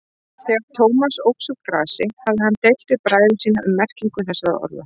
Þegar Thomas óx úr grasi hafði hann deilt við bræður sína um merkingu þessara orða.